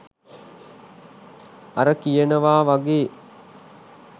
අර කියනවා වගේ